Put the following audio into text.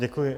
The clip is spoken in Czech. Děkuji.